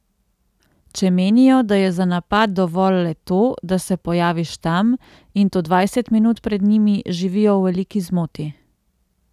Če menijo, da je za napad dovolj le to, da se pojaviš tam, in to dvajset minut pred njimi, živijo v veliki zmoti.